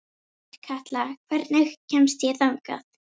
Otkatla, hvernig kemst ég þangað?